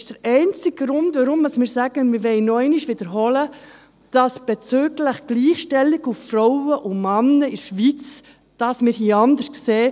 Das ist der einzige Grund, weshalb wir noch einmal wiederholen, dass wir es bezüglich der Gleichstellung von Frauen und Männern in der Schweiz anders sehen.